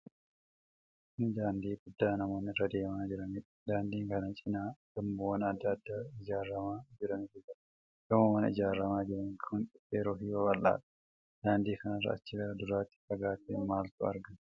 Kun daandii guddaa namoonni irra deemaa jiranidha. Daandii kana cinaa gamoowwan adda addaa ijaaramaa jirantu jira. Gamoowwan ijaaramaa jiran kun dhedheeroo fi babal'aadha. Daandii kanarra achi gara duraatti fagaatee maaltu argama?